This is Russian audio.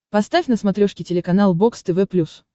поставь на смотрешке телеканал бокс тв плюс